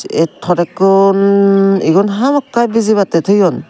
ye todakkun igun hamakkai bijibattey toyon.